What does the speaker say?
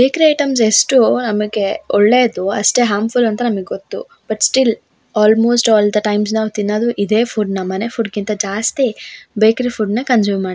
ಬೇಕ್ರಿ ಐಟಮ್ಸ್ ಎಷ್ಟು ನಮಗೆ ಒಳ್ಳೆದು ಅಷ್ಟೆ ಹಾರ್ಮ್ಫುಲ್ ಅಂತ ನಮಗೆ ಗೊತ್ತು but still almost all the times ನಾವ್ ತಿನ್ನೋದು ಇದೇ ಫುಡ್ನ ಮನೆ ಫುಡ್ ಕ್ಕಿಂತ ಜಾಸ್ತಿ ಬೇಕ್ರಿ ಫುಡ್ನ ಕನ್ಸ್ಯೂಮ್ ಮಾಡ್ತೀವಿ.